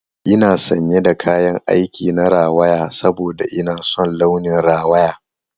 Ina sanye da kayan aik na rawaya saboda ina son launin rawaya.